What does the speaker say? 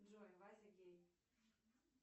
джой вася гей